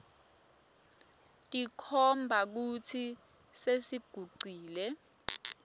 tikhomba kutsi sesigucule